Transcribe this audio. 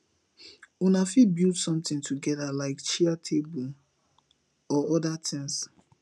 una fit build something together like chair table or oda things